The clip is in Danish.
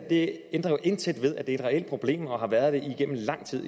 det ændrer jo intet ved at det er et reelt problem og har været det igennem lang tid